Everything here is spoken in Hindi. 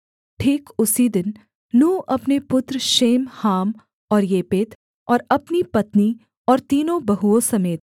ठीक उसी दिन नूह अपने पुत्र शेम हाम और येपेत और अपनी पत्नी और तीनों बहुओं समेत